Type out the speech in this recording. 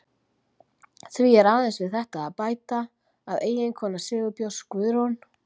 Því er aðeins við þetta að bæta að eiginkona Sigurbjörns, Guðrún